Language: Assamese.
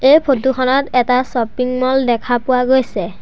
এই ফটো খনত এটা শ্ব'পিং মল দেখা পোৱা গৈছে।